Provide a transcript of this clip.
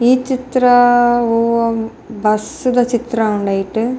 ಈ ಚಿತ್ರ ಒವಾ ಬಸ್ದ ಚಿತ್ರ ಉಂಡು ಐಟ್.